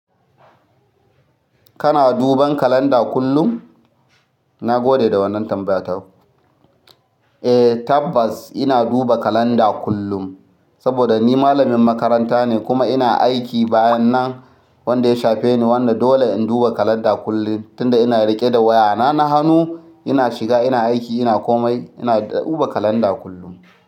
Kana duban kalanda kullum? Na gode da wannan tambayar. Eh, tabbas, ina duba kalanda kullum saboda ni malamin makaranta ne kuma ina aiki bayan nan wanda ya shafe ni. Wanda dole in duba kalanda kullum tunda ina riƙe da wayana na hanu, ina shiga, ina aiki, ina komai ina duba kalanda kullum.